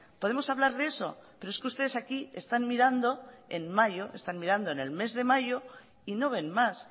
podemos hablar de eso pero es que ustedes aquí están mirando en mayo están mirando en el mes de mayo y no ven más